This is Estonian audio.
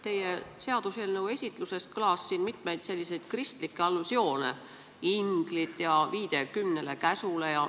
Teie seaduseelnõu esitluses kõlas mitmeid kristlikke allusioone: inglid ja viide kümnele käsule.